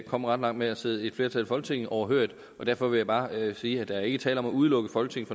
komme ret langt med at sidde et flertal i folketinget overhørigt og derfor vil jeg bare sige at der ikke er tale om at udelukke folketinget